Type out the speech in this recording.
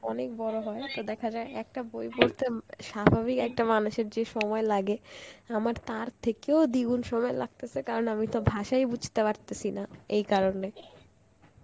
অনেক বড় হয় তো দেখা যায় একটা বই পড়তে উম স্বাভাবিক একটা মানুষের যে সময় লাগে আমার তার থেকেও দ্বিগুণ সময় লাগতেসে কারণ আমি তো ভাষাই বুঝতে পারতাসি না, এই কারণে.